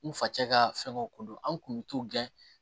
N fa cɛ ka fɛnkɛw ko dɔn an kun mi t'u gɛn